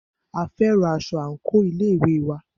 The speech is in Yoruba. A fẹ́ran aṣọ àńkò ilé ìwé wa